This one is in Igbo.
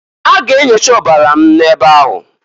A ga enyocha ọbara m n'ebe ahụ.